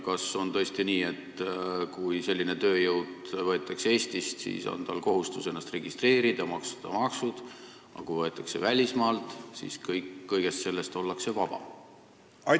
Kas on tõesti nii, et kui selline tööjõud võetakse Eestist, siis peab ennast registreerima ja maksma maksud, aga kui inimene tuleb välismaalt, siis ollakse sellest kohustusest vaba?